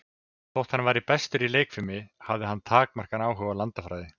Þótt hann væri bestur í leikfimi, hafði hann takmarkaðan áhuga á landafræði.